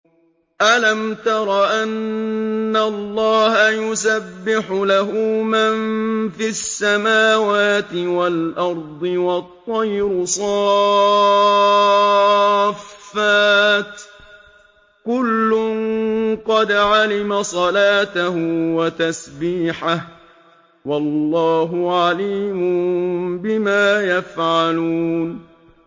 أَلَمْ تَرَ أَنَّ اللَّهَ يُسَبِّحُ لَهُ مَن فِي السَّمَاوَاتِ وَالْأَرْضِ وَالطَّيْرُ صَافَّاتٍ ۖ كُلٌّ قَدْ عَلِمَ صَلَاتَهُ وَتَسْبِيحَهُ ۗ وَاللَّهُ عَلِيمٌ بِمَا يَفْعَلُونَ